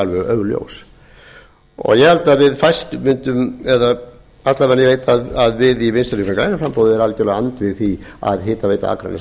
alveg augljós ég held að við fæst eða alla vegana ég veit að við í vinstri hreyfingunni grænu framboði erum algjörlega andvíg því að hitaveita akraness og